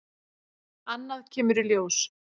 Annað kemur ljós